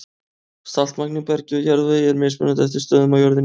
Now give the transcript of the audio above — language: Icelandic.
Saltmagn í bergi og jarðvegi er mismunandi eftir stöðum á jörðinni.